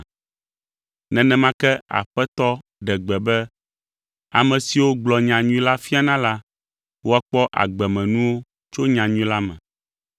Nenema ke Aƒetɔ ɖe gbe be ame siwo gblɔa nyanyui la fiana la, woakpɔ agbemenuwo tso nyanyui la me.